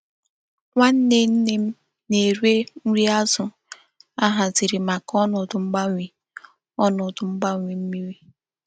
Nwanne nne m na-ere nri azu a haziri maka onodu mgbanwe onodu mgbanwe mmiri.